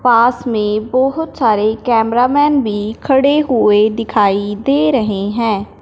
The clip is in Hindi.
पास में बहोत सारे कैमरा मैन भी खड़े हुए दिखाई दे रहे हैं।